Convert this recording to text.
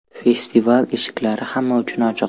Festival eshiklari hamma uchun ochiq.